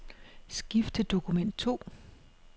Skift til dokument to.